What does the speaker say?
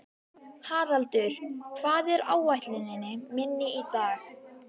Haraldur, hvað er á áætluninni minni í dag?